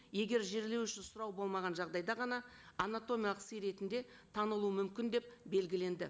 егер жерлеу үшін сұрау болмаған жағдайда ғана анатомиялық сый ретінде танылу мүмкін деп белгіленді